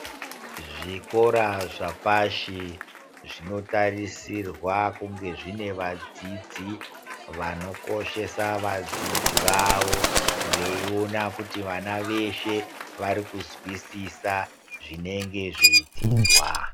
Zvikora zvapashi zvinotarisirwa kunge zvine vadzidzi vonokoshesa vadzidzi vavo veiona kuti vana veshe vari kuzwisisa zvinenge zveidzidzwa.